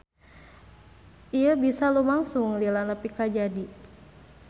Ieu bisa lumangsung lila nepi ka jadi.